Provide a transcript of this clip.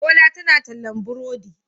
Bola tana tallan burodi.